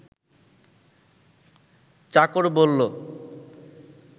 চাকর বলল